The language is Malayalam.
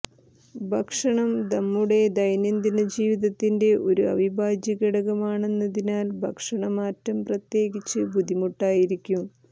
ഭക്ഷണം നമ്മുടെ ദൈനംദിന ജീവിതത്തിൻറെ ഒരു അവിഭാജ്യഘടകമാണെന്നതിനാൽ ഭക്ഷണ മാറ്റം പ്രത്യേകിച്ച് ബുദ്ധിമുട്ടായിരിക്കും